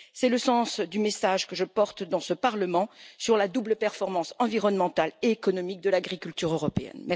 C'est le sens du message que je porte dans ce Parlement sur la double performance environnementale et économique de l'agriculture européenne.